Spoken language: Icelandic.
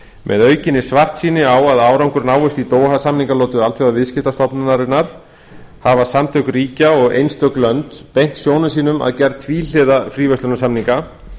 með aukinni svartsýni á að árangur náist í doha samningalotu alþjóðaviðskiptastofnunarinnar hafa samtök ríkja og einstök lönd beint sjónum sínum að gerð tvíhliða fríverslunarsamninga